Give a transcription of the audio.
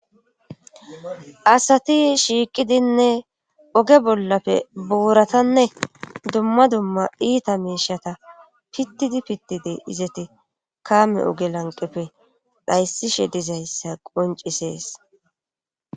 asati shiiqidinne oge bollafe buuratanne dumma dumma iita meishata pittidi pittidi izeti kaame oge lanqefe dhayssishe dizayssa qoncisees